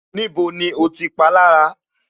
Níbo ni o ti palára